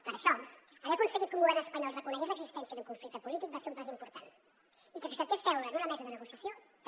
per això haver aconseguit que un govern espanyol reconegués l’existència d’un conflicte polític va ser un pas important i que acceptés seure en una mesa de negociació també